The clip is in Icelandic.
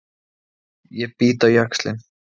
Ég bít á jaxlinn.